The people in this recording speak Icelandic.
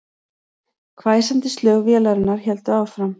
Hvæsandi slög vélarinnar héldu áfram